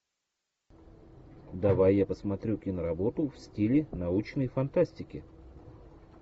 давай я посмотрю киноработу в стиле научной фантастики